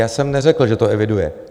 Já jsem neřekl, že to eviduje.